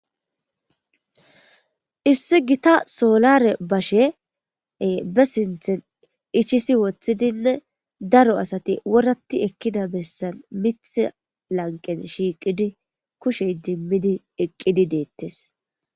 issi gita soolare bashee be sinthen ichisi woththidinne daro asati worati ekkida bessan mith lanqen shiiqidi kushey dimmidi eqqidi deettes